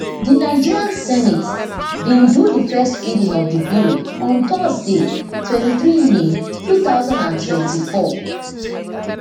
di nigerian senate bin do di first reading of di bill on thursday twenty-three may two thousand and twenty-four